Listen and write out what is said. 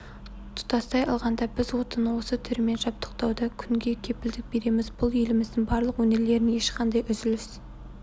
тұтастай алғанда біз отынның осы түрімен жабдықтауда күнге кепілдік береміз бұл еліміздің барлық өңірлерін ешқандай үзіліс